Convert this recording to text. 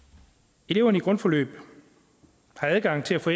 eleverne på grundforløb har adgang til at få